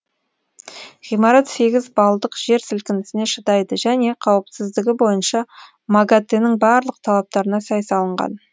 ғимарат сегіз балдық жер сілкінісіне шыдайды және қауіпсіздігі бойынша магатэ нің барлық талаптарына сай салынған